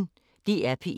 DR P1